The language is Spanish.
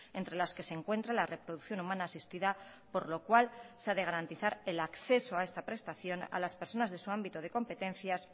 entre las que se encuentra la reproducción humana asistida por lo cual se ha de garantizar el acceso a esta prestación a las personas de su ámbito de competencias